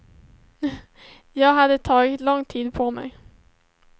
Jag hade tagit lång tid på mig.